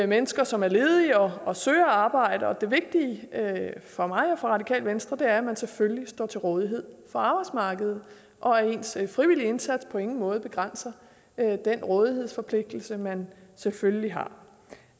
mennesker som er ledige og søger arbejde og det vigtige for mig og for radikale venstre er at man selvfølgelig står til rådighed for arbejdsmarkedet og at ens frivillige indsats på ingen måde begrænser den rådighedsforpligtelse man selvfølgelig har det